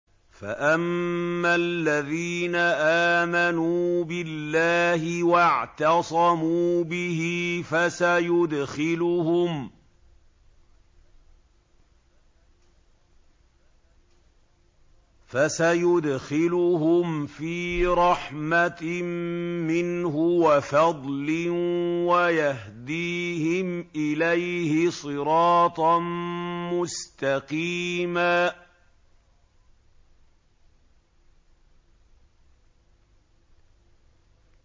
فَأَمَّا الَّذِينَ آمَنُوا بِاللَّهِ وَاعْتَصَمُوا بِهِ فَسَيُدْخِلُهُمْ فِي رَحْمَةٍ مِّنْهُ وَفَضْلٍ وَيَهْدِيهِمْ إِلَيْهِ صِرَاطًا مُّسْتَقِيمًا